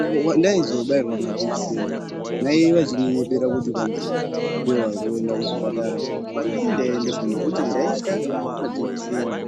uko kwandaizobairwa majekiseni, mai vachindinyepera kuti kwanzi ,ndivo vari kuenda kuchipatara ,apa ndini ndaiendeswa nekuti ndaitya majekiseni.